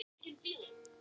Sara er tvítug.